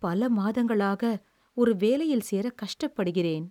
பல மாதங்களாக ஒரு வேலையில் சேர கஷ்டப்படுகிறேன்.